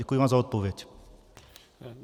Děkuji vám za odpověď.